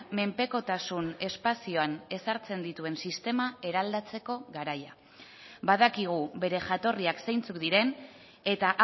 menpekotasun espazioan ezartzen dituen sistema eraldatzeko garaia badakigu bere jatorriak zeintzuk diren eta